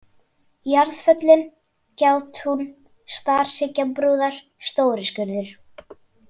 Jarðföllin, Gjátún, Starhryggjabrúðar, Stóriskurður